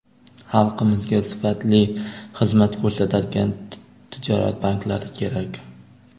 Xalqimizga sifatli xizmat ko‘rsatadigan tijorat banklari kerak.